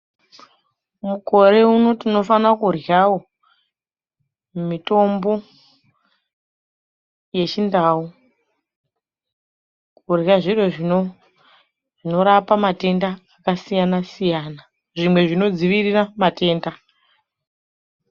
Mukore uno tinofane kuryawo mitombo yechindau, kurye zviro zvinorape matenda akasiyana siyana zvimwe zvinodzivirire matenda akasiyana.